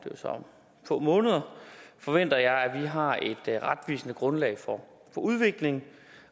få måneder forventer jeg at vi har et retvisende grundlag for udviklingen